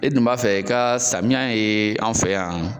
E dun b'a fɛ i ka samiya ye anw fɛ yan.